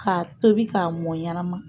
K'a tobi k'a mɔn ɲanama